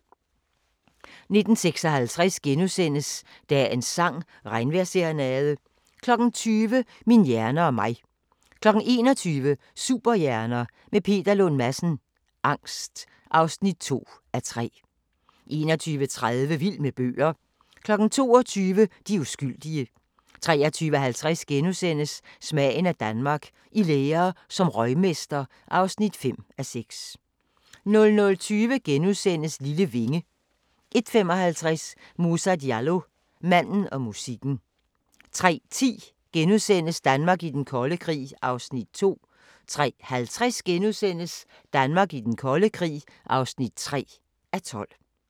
19:56: Dagens sang: Regnvejrsserenade * 20:00: Min hjerne og mig 21:00: Superhjerner – med Peter Lund Madsen: Angst (2:3) 21:30: Vild med bøger 22:00: De uskyldige 23:50: Smagen af Danmark – I lære som røgmester (5:6)* 00:20: Lille vinge * 01:55: Moussa Diallo – Manden og musikken 03:10: Danmark i den kolde krig (2:12)* 03:50: Danmark i den kolde krig (3:12)*